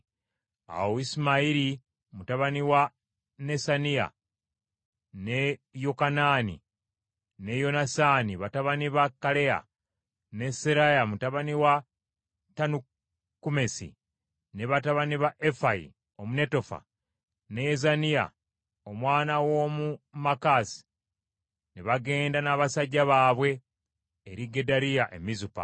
Awo Isimayiri mutabani wa Nesaniya, ne Yokanaani ne Yonasaani batabani ba Kaleya, ne Seraya mutabani wa Tanukumesi, ne batabani ba Efayi Omunetofa, ne Yezaniya omwana w’omu Maakasi, ne bagenda n’abasajja baabwe eri Gedaliya e Mizupa.